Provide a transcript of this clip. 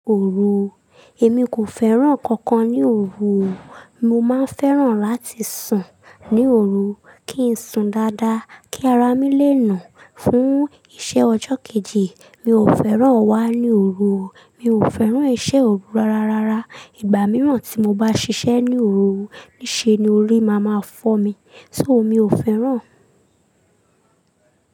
Òru, èmi kò fẹ́ràn nǹkan kan ní òru. Mo máa fẹ́ràn láti sùn ní òru kí ń sùn dáadáa, kí ara mi lè nà án fún iṣẹ́ ọjọ́ kejì. Mi ò fẹ́ràn wá ní òru. Mi ò fẹ́ràn iṣẹ́ òru rárará. Ìgbà mìíràn tí mo bá ṣiṣẹ́ ní òru, níṣẹ́ ni orí máa máa fọ́ mi. So mi ò fẹ́ràn.